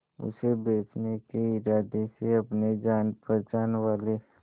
उसे बचने के इरादे से अपने जान पहचान वाले